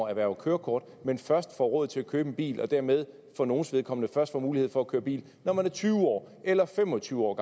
erhverver kørekort men først får råd til at købe en bil og dermed for nogles vedkommende først får mulighed for at køre bil når man er tyve år eller fem og tyve år